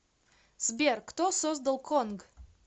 сбер кто создал конг